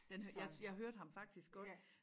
Den har jeg jeg hørte ham faktisk godt